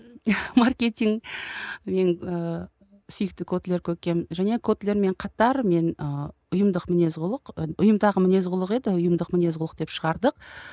маркетинг мен ыыы сүйікті котлер және котлермен қатар мен ыыы ұйымдық мінез құлық і ұйымдаға мінез құлық еді ұйымдық міне құлық деп шығардық